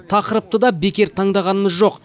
тақырыпты да бекер таңдағанымыз жоқ